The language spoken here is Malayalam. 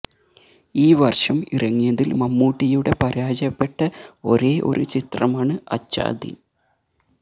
ഈ വര്ഷം ഇറങ്ങിയതില് മമ്മൂട്ടിയുടെ പരാജയപ്പെട്ട ഒരേ ഒരു ചിത്രമാണ് അച്ചാ ദിന്